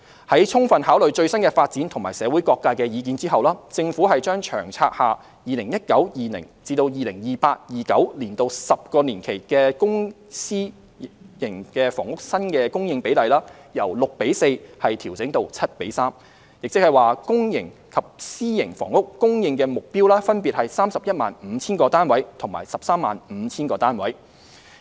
在充分考慮最新的發展和社會各界的意見後，政府將《長策》下 2019-2020 年度至 2028-2029 年度10年期的公私營房屋新供應比例，由 6：4 調整至 7：3， 即公營及私營房屋供應目標分別為 315,000 個單位及 135,000 個單位。